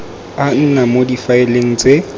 a nna mo difaeleng tse